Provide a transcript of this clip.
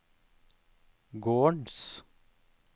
gårdens